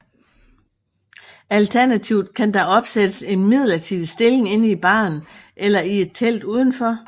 Alternativt kan der opsættes en midlertidig stilling inde i baren eller i et telt udenfor